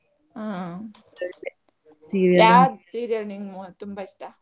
ಯಾವ್ serial ನಿಮ್ಗೆ ತುಂಬಾ ಇಷ್ಟ?